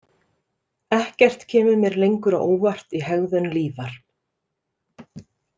Ekkert kemur mér lengur á óvart í hegðun Lífar.